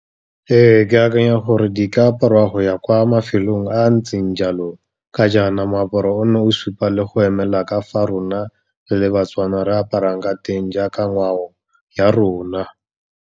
Ee, ke akanya gore di ka aparwa go ya kwa mafelong a a ntseng jalo, ka jaana moaparo o na o supa le go emela ka fa rona re le baTswana re aparang ka teng jaaka ngwao ya rona.